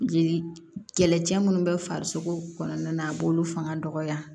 Jeli kɛlɛcɛ minnu bɛ farisogo kɔnɔna na a b'olu fanga dɔgɔya